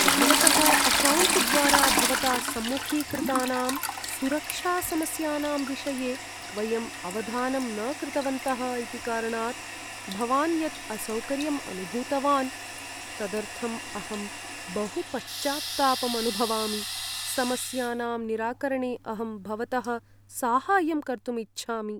भवतः अकौण्ट्द्वारा भवता सम्मुखीकृतानां सुरक्षासमस्यानां विषये वयम् अवधानं न कृतवन्तः इति कारणात् भवान् यत् असौकर्यं अनुभूतवान्, तदर्थम् अहं बहु पश्चात्तापम् अनुभवामि, समस्यानां निराकरणे अहं भवतः साहाय्यं कर्तुम् इच्छामि।